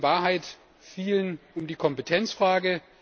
Es geht in Wahrheit vielen um die Kompetenzfrage.